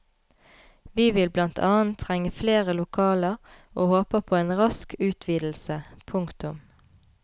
Vi vil blant annet trenge flere lokaler og håper på en rask utvidelse. punktum